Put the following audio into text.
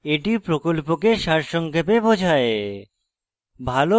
এটি প্রকল্পকে সারসংক্ষেপে বোঝায়